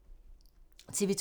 TV 2